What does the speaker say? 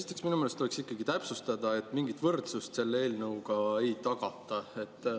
Esiteks, minu meelest tuleks ikkagi täpsustada, et mingit võrdsust selle eelnõuga ei tagata.